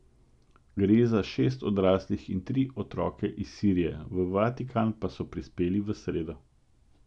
Gre za šest odraslih in tri otroke iz Sirije, v Vatikan pa so prispeli v sredo.